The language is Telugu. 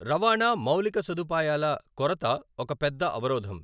రవాణా మౌలిక సదుపాయాల కొరత ఒక పెద్ద అవరోధం.